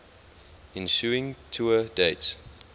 ensuing tour dates